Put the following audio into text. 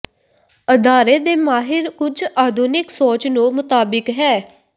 ਅਦਾਰੇ ਦੇ ਮਾਹਿਰ ਕੁਝ ਆਧੁਨਿਕ ਸੋਚ ਨੂੰ ਮੁਤਾਬਿਕ ਹੈ